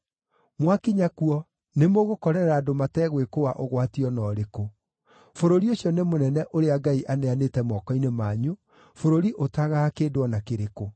Mwakinya kuo, nĩmũgũkorerera andũ mategwĩkũũa ũgwati o na ũrĩkũ. Bũrũri ũcio nĩ mũnene ũrĩa Ngai aneanĩte moko-inĩ manyu, bũrũri ũtagaga kĩndũ o na kĩrĩkũ.”